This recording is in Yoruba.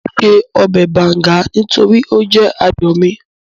Mò ún ṣe ọbẹ̀ bàùngá nítorí ó jẹ́ ààyò mi